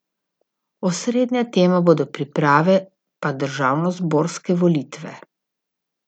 Osrednja tema bodo priprave pa državnozborske volitve.